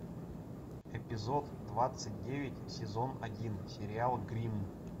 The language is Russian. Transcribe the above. эпизод двадцать девять сезон один сериал гримм